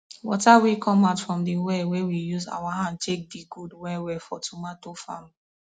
water wey come out from the well wey we use our hand take dig good well well for tomato farm